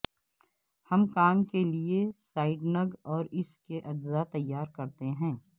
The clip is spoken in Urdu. ہم کام کے لئے سائڈنگ اور اس کے اجزاء تیار کرتے ہیں